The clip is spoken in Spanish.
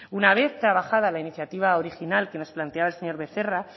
una vez trabajada la iniciativa original que nos planteaba el señor becerra